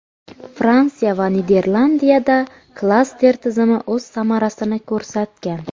Fransiya va Niderlandiyada klaster tizimi o‘z samarasini ko‘rsatgan.